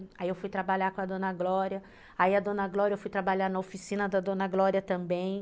Aí eu fui trabalhar com a dona Glória, aí a dona Glória eu fui trabalhar na oficina da dona Glória também.